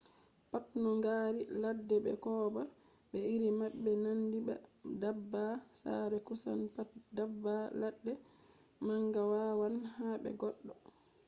pat no ngaari ladde be kooba be iri maɓɓe nandi ba daabba sare kusan pat daabba ladde manga wawan haɓa goɗɗo